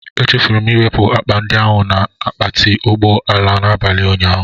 Echefuru m iwepụ akpa ndị ahụ na akpati ụgbọ ala n'abalị ụnyaahụ.